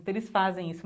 Eles fazem isso.